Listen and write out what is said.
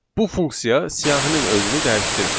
Bu funksiya siyahının özünü dəyişdirmir.